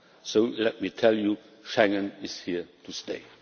So let me tell you Schengen is here to stay.